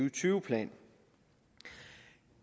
og tyve plan